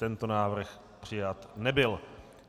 Tento návrh přijat nebyl.